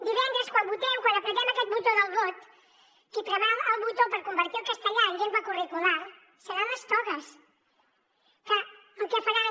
divendres quan votem quan premem aquest botó del vot qui premerà el botó per convertir el castellà en llengua curricular seran les togues que el que faran